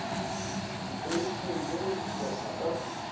dikreiting le go dihlopha ka